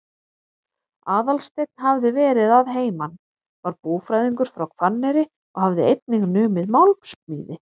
Aðalsteinn hafði verið að heiman, var búfræðingur frá Hvanneyri og hafði einnig numið málmsmíði.